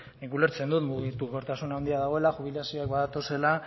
nik ulertzen dut mugikortasun handia dagoela jubilazioak badatozela